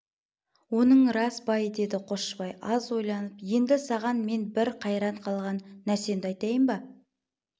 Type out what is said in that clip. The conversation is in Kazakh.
оның рас бай деді қосшыбай аз ойланып енді саған мен бір қайран қалған нәрсемді айтайын ба